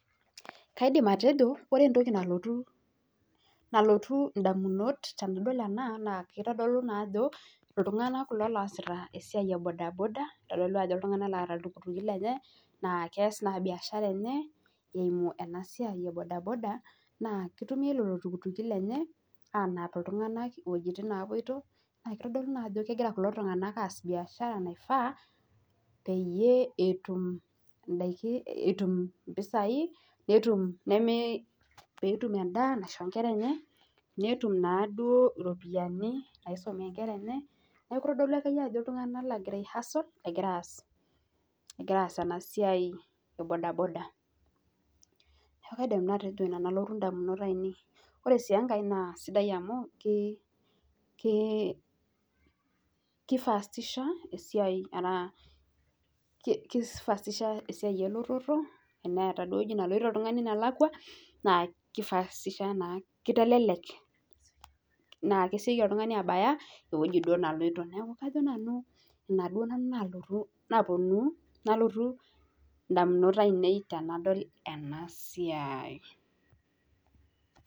Kaidim atejo ore entoki nalotu indamunot naa keitoolu naa ajo iltung'anak kulo lesiai ee bodaboda neeta iltukituki lenye naa keas naa biashara enye eimu ena siai e bodaboda keitumiai lelo tukituki lenye aanap iltung'anak iwejitin naapoito naa keitodolu naa easita biashara naifaa peyie etum impisai peetum impisai en'daa oropiani naisumie inkera enye niaku itodolu ajo iltung'anak ootii hustle Ore enkae naa keifastisha esiai elototo, ewueji neloito oltungani nelakwa naa kitelelek naa kesioki oltuatabai ewueji neloito